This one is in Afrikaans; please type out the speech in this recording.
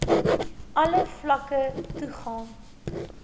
alle vlakke toegang